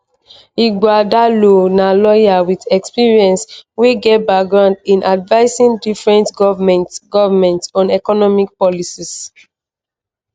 ighodalo na lawyer with experience wey get background in advising different govments govments on economic policies.